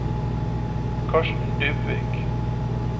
Karsten Dybvik